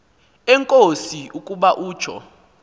enkosi ukuba utsho